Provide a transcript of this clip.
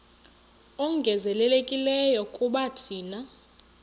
ongezelelekileyo kuba thina